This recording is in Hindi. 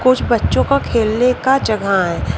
कुछ बच्चों का खेलने का जगह है।